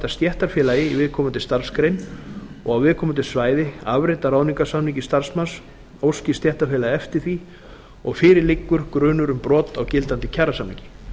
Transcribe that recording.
stéttarfélagi í viðkomandi starfsgrein og á viðkomandi svæði afrit af ráðningarsamningi starfsmanns óski stéttarfélagið eftir því og fyrir liggur grunur um brot á gildandi kjarasamningi